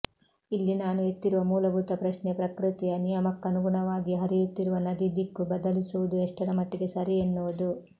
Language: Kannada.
ಇಲ್ಲಿ ನಾನು ಎತ್ತಿರುವ ಮೂಲಭೂತ ಪ್ರಶ್ನೆ ಪ್ರಕೃತಿಯ ನಿಯಮಕ್ಕನುಗುಣವಾಗಿ ಹರಿಯುತ್ತಿರುವ ನದಿ ದಿಕ್ಕು ಬದಲಿಸುವುದು ಎಷ್ಟರಮಟ್ಟಿಗೆ ಸರಿ ಎನ್ನುವುದು